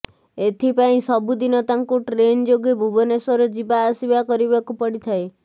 ଏଥିପାଇଁ ସବୁଦିନ ତାଙ୍କୁ ଟ୍ରେନ୍ ଯୋଗେ ଭୁବନେଶ୍ୱର ଯିବା ଆସିବା କରିବାକୁ ପଡ଼ିଥାଏ